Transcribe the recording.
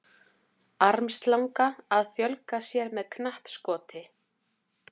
Armslanga að fjölga sér með knappskoti.